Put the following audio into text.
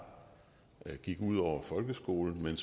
ud over folkeskolen men